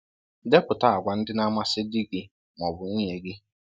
Depụta àgwà ndị na-amasị di gị ma ọ bụ nwunye gị.